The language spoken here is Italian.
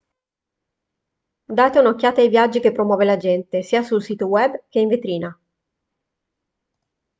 date un'occhiata ai viaggi che promuove l'agente sia sul sito web che in vetrina